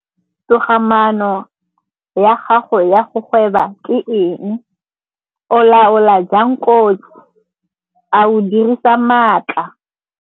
Togamaano ya gago ya go gweba ke eng? O laola jang kotsi? A o dirisa maatla?